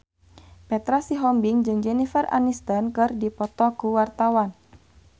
Petra Sihombing jeung Jennifer Aniston keur dipoto ku wartawan